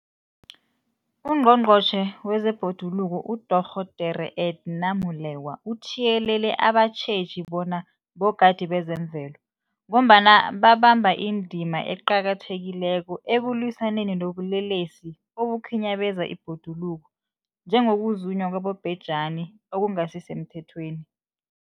UNgqongqotjhe wezeBhoduluko uDorh Edna Molewa uthiyelele abatjheji bona bogadi bezemvelo, ngombana babamba indima eqakathekileko ekulwisaneni nobulelesi obukhinyabeza ibhoduluko, njengokuzunywa kwabobhejani okungasisemthethweni.